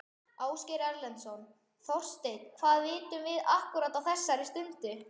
Ásgeir Erlendsson: Þorsteinn hvað vitum við akkúrat á þessari stundu?